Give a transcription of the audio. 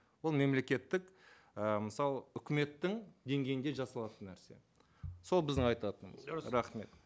ол мемлекеттік ы мысалы үкіметтің деңгейінде жасалатын нәрсе сол біздің айтатынымыз рахмет